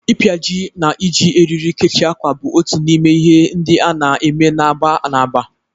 Ịpịaji na iji eriri kechie ákwà bụ otu n'ime ihe ndị a na-eme na agba na agba.